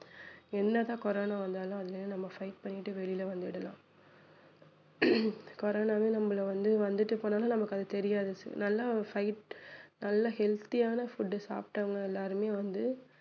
என்னதான் கொரோனா வந்தாலும் அதிலிருந்து நம்ம fight பண்ணிட்டு வெளிய வந்துடலாம் கொரோனாவே நம்மள வந்து வந்துட்டு போனாலும் நமக்கு அது தெரியாது நல்லா fight நல்ல healthy யான food சாப்பிட்டவங்க எல்லாருமே வந்து